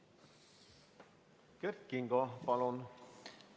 Kert Kingo, palun!